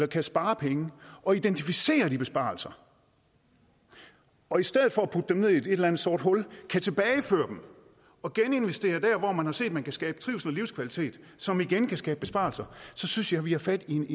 kan spare penge og identificere de besparelser og i stedet for at putte dem ned i et eller andet sort hul kan tilbageføre dem og geninvestere dem der hvor man har set man kan skabe trivsel og livskvalitet som igen kan skabe besparelser så synes jeg vi har fat i en